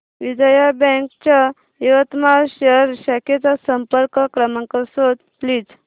Vijaya bank च्या यवतमाळ शहर शाखेचा संपर्क क्रमांक शोध प्लीज